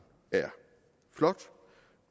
er flot